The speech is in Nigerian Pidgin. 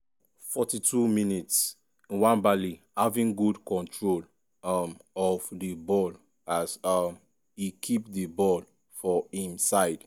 42mins- nwabali having good control um of di ball as um e keep di ball for im side.